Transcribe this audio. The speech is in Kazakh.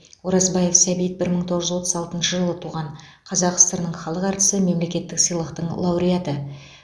оразбаев сәбит бір мың тоғыз жүз отыз алтыншы жылы туған қазақ сср інің халық әртісі мемлекеттік сыйлықтың лауреаты